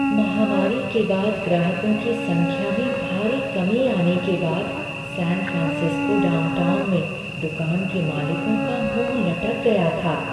महामारी के बाद ग्राहकों की संख्या में भारी कमी आने के बाद सैन फ्रांसिस्को डाउनटाउन में दुकान के मालिकों का मुँह लटक गया था।